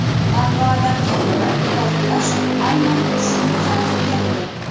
Manbalarga ko‘ra, portlash aynan shunga qaratilgan edi.